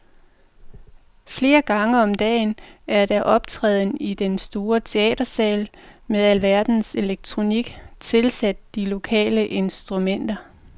Flere gange om dagen er der optræden i en stor teatersal med alverdens elektronik tilsat de lokale instrumenter.